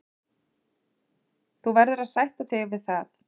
Þú verður að sætta þig við það.